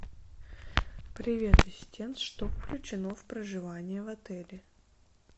привет ассистент что включено в проживание в отеле